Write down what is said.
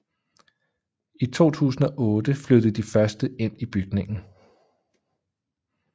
I 2008 flyttede de første ind i bygningen